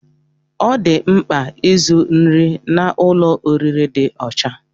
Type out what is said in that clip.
Ọ dị mkpa izu nri n'ụlọ oriri dị ọcha